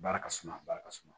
Baara ka suma a baara ka suma